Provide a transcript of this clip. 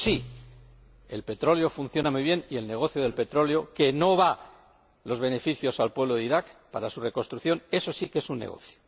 Eso sí, el petróleo funciona muy bien y el negocio del petróleo, cuyos beneficios no van al pueblo de Irak para su reconstrucción eso sí que es un negocio.